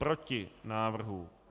Proti návrhu.